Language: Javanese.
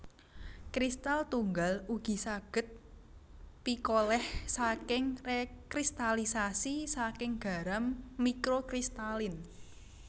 Kristal tunggal ugi saged pikoleh saking rekristalisasi saking garam mikrokristalin